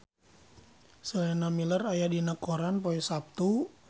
Sienna Miller aya dina koran poe Saptu